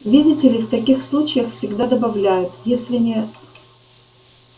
видите ли в таких случаях всегда добавляют если не